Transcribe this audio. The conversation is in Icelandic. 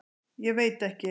Ég veit ekki.